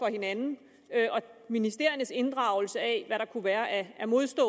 hinanden og ministeriernes inddragelse af hvad der kunne være af af modsatte